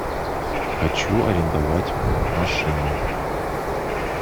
хочу арендовать машину